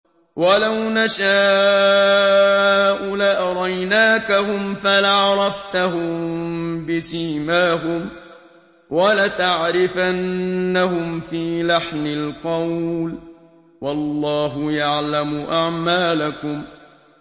وَلَوْ نَشَاءُ لَأَرَيْنَاكَهُمْ فَلَعَرَفْتَهُم بِسِيمَاهُمْ ۚ وَلَتَعْرِفَنَّهُمْ فِي لَحْنِ الْقَوْلِ ۚ وَاللَّهُ يَعْلَمُ أَعْمَالَكُمْ